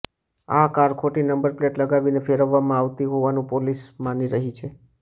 આ કાર ખોટી number plate લગાવીને ફેરવવામાં આવતી હોવાનું પોલીસ માની રહી છે